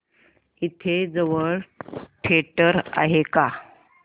इथे जवळ थिएटर आहे का